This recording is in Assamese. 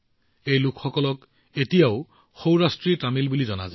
এই লোকসকলক এতিয়াও সৌৰাষ্ট্ৰী তামিল বুলি জনা যায়